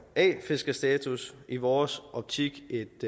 a fiskerstatus i vores optik